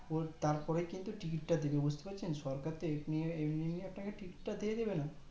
ওর তারপরেই কিন্তু টিকিটটা দেবে বুজতে পারছেন সরকার তো এমনি এমনি আপনাকে টিকিটি তা দিয়ে দেবে না